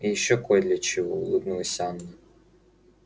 и ещё кой для чего улыбнулась анна